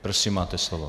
Prosím, máte slovo.